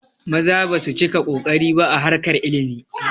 Maza basu cika kokari ba a harkar ilimi